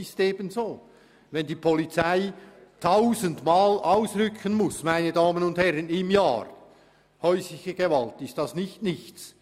Wenn die Polizei pro Jahr tausendmal ausrücken muss, dann ist das nicht nichts.